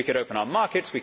We could open our markets